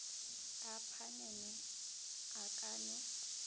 a phanele a ka no